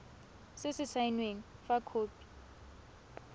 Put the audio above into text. se se saenweng fa khopi